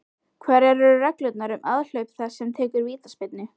Hverjar eru reglurnar um aðhlaup þess sem tekur vítaspyrnu?